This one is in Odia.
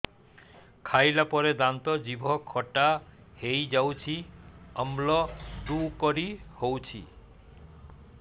ଖାଇଲା ପରେ ଦାନ୍ତ ଜିଭ ଖଟା ହେଇଯାଉଛି ଅମ୍ଳ ଡ଼ୁକରି ହଉଛି